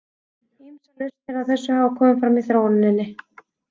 Ýmsar lausnir á þessu hafa komið fram í þróuninni.